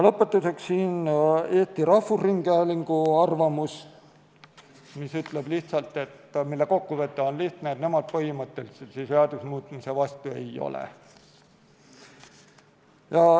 Lõpetuseks rahvusringhäälingu arvamus, mille kokkuvõte on lihtne: nemad põhimõtteliselt selle seaduse muutmise vastu ei ole.